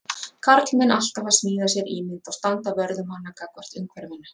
Karlmenn alltaf að smíða sér ímynd og standa vörð um hana gagnvart umhverfinu.